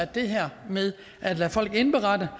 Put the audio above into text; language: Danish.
det her med at lade folk indberette